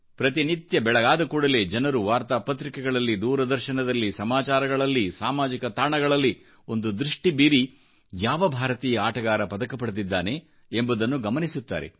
ಪ್ರತಿನಿತ್ಯವೂಬೆಳಗಾದ ಕೂಡಲೇ ಜನರು ವಾರ್ತಾಪತ್ರಿಕೆಗಳಲ್ಲಿ ದೂರದರ್ಶನಗಳಲ್ಲಿ ಸಮಾಚಾರಗಳಲ್ಲಿ ಸಾಮಾಜಿಕ ತಾಣಗಳಲ್ಲಿ ಒಂದು ದೃಷ್ಟಿ ಬೀರಿ ಯಾವಭಾರತೀಯ ಆಟಗಾರ ಪದಕ ಪಡೆದಿದ್ದಾನೆ ಎಂಬುದನ್ನು ಗಮನಿಸುತ್ತಾರೆ